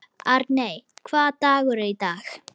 Arney, hvaða dagur er í dag?